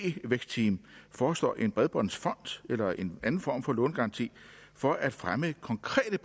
ikt vækstteam foreslår en bredbåndsfond eller en anden form for lånegaranti for at fremme konkrete